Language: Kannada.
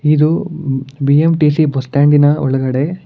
ಇದು ಬಿ_ಎಂ_ಟಿ_ಸಿ ಬಸ್ ಸ್ಟ್ಯಾಂಡಿನ ಒಳಗಡೆ.